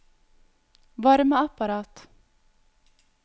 varmeapparat